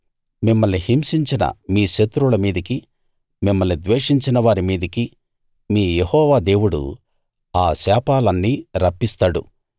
మిమ్మల్ని హింసించిన మీ శత్రువుల మీదికీ మిమ్మల్ని ద్వేషించినవారి మీదికీ మీ యెహోవా దేవుడు ఆ శాపాలన్నీ రప్పిస్తాడు